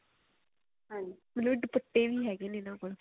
ਮਤਲਬ ਦੁਪੱਟੇ ਵੀ ਹੈਗੇ ਨੇ ਇਹਨਾ ਕੋਲ